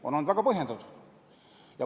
– on olnud väga põhjendatud.